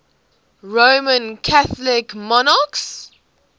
roman catholic monarchs